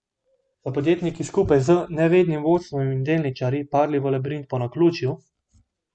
So podjetniki skupaj z nevednim vodstvom in delničarji padli v labirint po naključju?